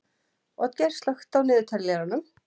Oddgeir, slökktu á niðurteljaranum.